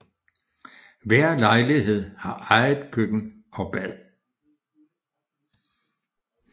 Hver lejlighed har eget køkken og bad